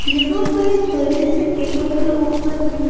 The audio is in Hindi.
यहां पर एक बड़े से टेबल के ऊपर में--